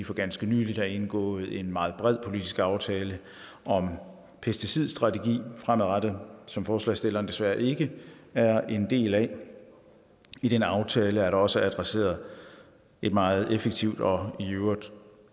for ganske nylig har indgået en meget bred politisk aftale om pesticidstrategien fremadrettet som forslagsstillerne desværre ikke er en del af i den aftale er der også adresseret et meget effektivt og i øvrigt